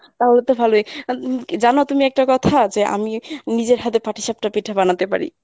তাহলে তো ভালোই, জানো তুমি একটা কথা যে আমি নিজের হাতে পাঠিসাপটা পিঠা বানাতে পারি।